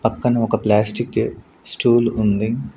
పక్కన ఒక plastic stool ఉంది.